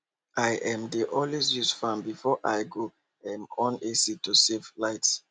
i um dey always use fan before i go um on ac to save light